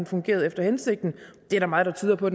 fungeret efter hensigten det er der meget der tyder på